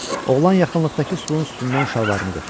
Oğlan yaxınlıqdakı sütunun üstündən şalvarını götürdü.